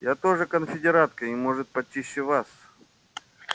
я тоже конфедератка и может почище вас